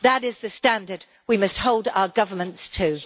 That is the standard we must hold our governments to.